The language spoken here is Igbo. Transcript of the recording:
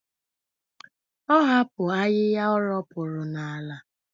Ọ hapụrụ ahịhịa o ropuru n'ala.